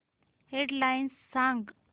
head lines सांग